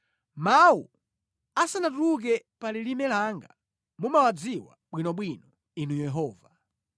Mawu asanatuluke pa lilime langa mumawadziwa bwinobwino, Inu Yehova.